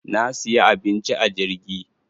Na siya abinci a jirgi.